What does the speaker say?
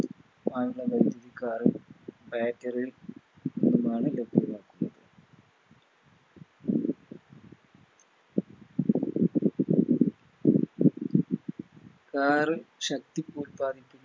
Car ശക്തി കൂട്ടാൻ